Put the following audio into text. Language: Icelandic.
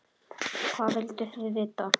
Hvað vilduð þið vita?